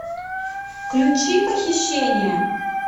включи похищение